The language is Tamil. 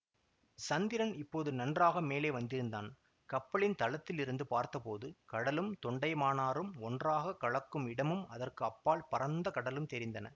சந்திரன் இப்போது நன்றாக மேலே வந்திருந்தான் கப்பலின் தளத்திலிருந்து பார்த்தபோது கடலும் தொண்டைமானாறும் ஒன்றாக கலக்கும் இடமும் அதற்கு அப்பால் பரந்த கடலும் தெரிந்தன